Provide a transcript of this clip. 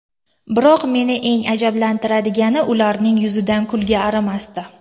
Biroq meni eng ajablantirgani ularning yuzidan kulgi arimasdi.